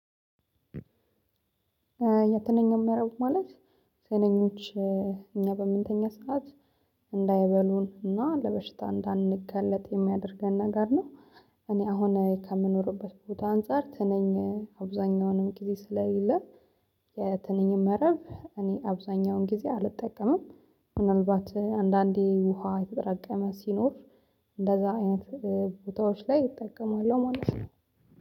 የትንኞች መረብ ማለት ትንኞች እኛ በምንተኛ ሠዓት እንዳይበሉን እና ለበሽታ እንዳንጋለጥ የሚያደርገን ነገር ነው። እኔ አሁን ከምኖርበት ቦታ አንፃር ትንኝ አብዛኛውንም ጊዜ ስለሌለ። የትንኝን መረብ እኔ አብዛኛውን ጊዜ አልጠቀምም። ምናልባት አንዳንዴ ውሃ የተጠራቀመ ሲኖር እንደዛ አይነት ቦታዎች ላይ እጠቀማለሁ ማለት ነው።